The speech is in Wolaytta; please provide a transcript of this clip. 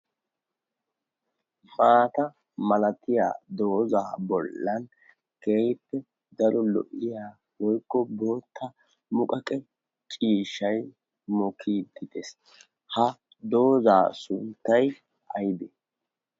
maata malatiya doozaa bollan keippe daro lo'iya woikko bootta muqaqe ciishshai mukidtitees ha doozaa sunttay oonee?